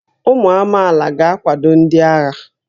Ụmụ amaala ga-akwado ndị agha